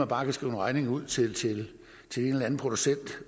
bare kan skrive en regning ud til til en eller anden producent